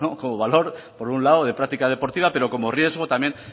como valor por un lado de práctica deportiva pero como riesgo también